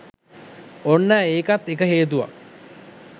ඔන්න ඒකත් එක හේතුවක්